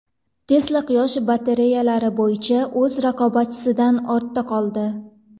Tesla quyosh batareyalari bo‘yicha o‘z raqobatchisidan ortda qoldi.